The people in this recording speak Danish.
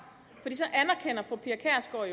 for